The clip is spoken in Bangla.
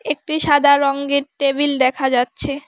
একটি সাদা রঙ্গের টেবিল দেখা যাচ্ছে।